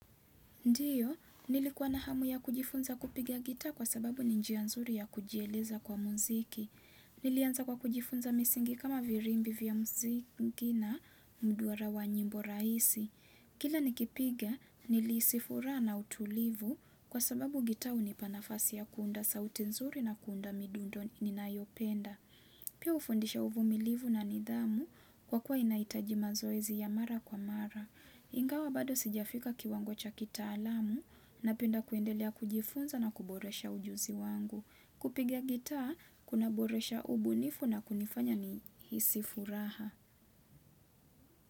Ndiyo, nilikuwa na hamu ya kujifunza kupigia gita kwa sababu ni njia nzuri ya kujieleza kwa mziki. Hhh Nilianza kwa kujifunza misingi kama virimbi vya mzinki na mduara wa nyimbo raisi. Hhh Kila nikipiga, niliisi furaa na utulivu kwa sababu gita unipanafasi ya kuunda sauti nzuri na kuunda midundo n ninayopenda. Pia ufundisha wa uvumilivu na nidhamu kwa kuwa inaitaji mazoezi ya mara kwa mara. Hhh ii Ingawa bado sijafika kiwango cha kitaalamu na penda kuendelea kujifunza na kuboresha ujuzi wangu.hhh kupiga gita kuna boresha ubunifu na kunifanya ni hisi furaha.